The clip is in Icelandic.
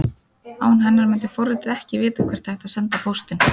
Án hennar myndi forritið ekki vita hvert ætti að senda póstinn.